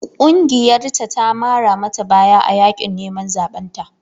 Ƙungiyarta ta mara mata baya a yaƙin neman zaɓen ta.